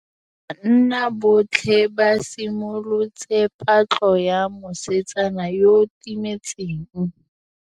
Banna botlhê ba simolotse patlô ya mosetsana yo o timetseng.